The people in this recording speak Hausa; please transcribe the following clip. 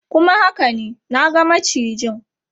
Kuma haka ne, na ga macijin.